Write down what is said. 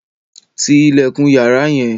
Tí ilẹkun yàrá yẹn!